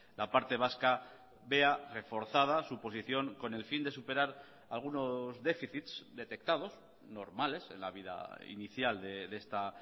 la parte vasca vea reforzada su posición con el fin de superar algunos déficits detectados normales en la vida inicial de esta